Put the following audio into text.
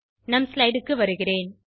நம் ஸ்லைடு க்கு வருகிறேன்